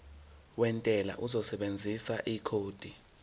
wentela uzosebenzisa ikhodi